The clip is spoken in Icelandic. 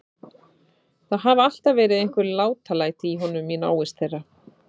Það hafa alltaf verið einhver látalæti í honum í návist þeirra.